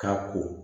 Ka ko